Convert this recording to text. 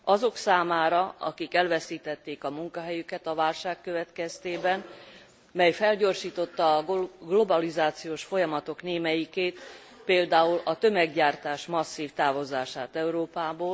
Azok számára, akik elveszítették a munkahelyüket a válság következtében, mely felgyorsította a globalizációs folyamatok némelyikét, például a tömeggyártás masszív távozását Európából.